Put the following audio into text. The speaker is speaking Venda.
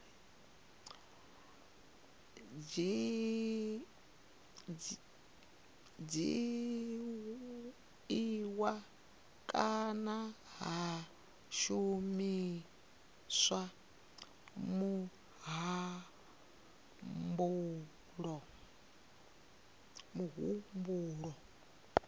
dzhiiwa kana ha shumiswa muhumbulo